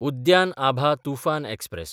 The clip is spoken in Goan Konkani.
उद्यान आभा तुफान एक्सप्रॅस